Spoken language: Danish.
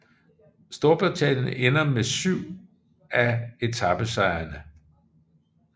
Storbritannien endte med syv af etapesejrene